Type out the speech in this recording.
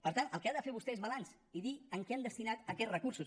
per tant el que ha de fer vostè és balanç i dir en què han destinat aquests recursos